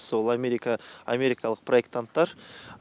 сол америка америкалық проектанттар